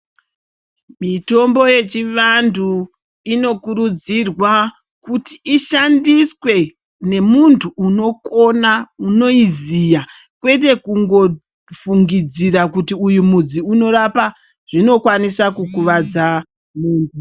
Mitombo yechivantu inokurudzirwa kuti ishandiswe nemuntu unokona, unoyiziya ,kwete kungofungidzira kuti uyu mudzi unorapa, zvinokwanisa kukuvadza muntu.